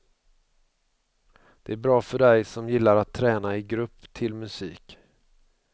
Det är bra för dig som gillar att träna i grupp till musik.